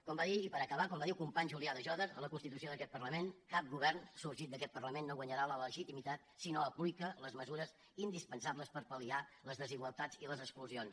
com va dir i per acabar el company julià de jòdar a la constitució d’aquest parlament cap govern sorgit d’aquest parlament no guanyarà la legitimitat si no aplica les mesures indispensables per pal·liar les desigualtats i les exclusions